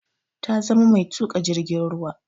Ta zama mai tuka jirgin ruwa.